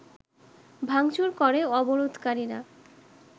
ভাঙচুর করে অবরোধকারীরা